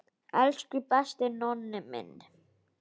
Elsku besti Nonni minn.